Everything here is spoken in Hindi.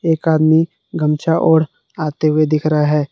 एक आदमी गमछा ओढ आते हुए दिख रहा है।